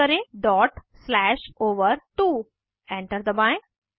type करें dot slash ओवर2 enter दबाएं